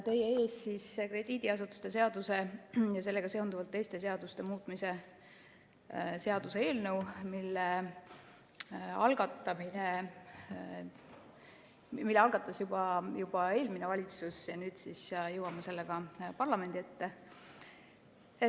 Teie ees on krediidiasutuste seaduse ja sellega seonduvalt teiste seaduste muutmise seaduse eelnõu, mille algatas juba eelmine valitsus ja millega nüüd siis jõuame parlamendi ette.